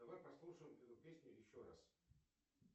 давай послушаем эту песню еще раз